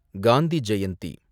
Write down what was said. Gandhi Jayanthi